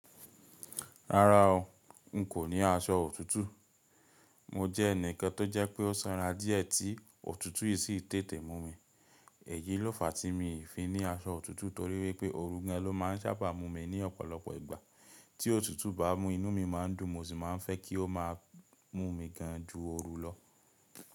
Rárá o, n kò ní aṣọ òtútù. Mo jẹ́ ẹnìkan tó jẹ́ pé ó sanra díẹ̀ tí òtútù yìí sì tètè mú mi. Èyí ló fa tí mo fi ní aṣọ òtútù torí wípé oorun gan ló máa ń sábà mú mi ní ọ̀pọ̀lọpọ̀ ìgbà. Tí òtútù bá mú inú mi má ń dùn mo sì máa ń fẹ́ kí o máa mú mi gan ju oorun lọ.